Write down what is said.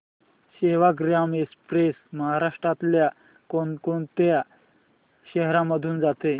Sevagram express महाराष्ट्रातल्या कोण कोणत्या शहरांमधून जाते